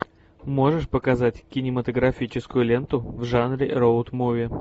можешь показать кинематографическую ленту в жанре роуд муви